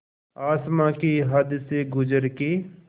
आसमां की हद से गुज़र के